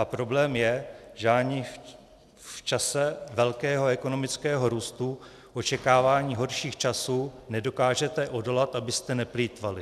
A problém je, že ani v čase velkého ekonomického růstu, očekávání horších časů nedokážete odolat, abyste neplýtvali.